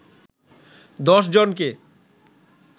১০ জনকে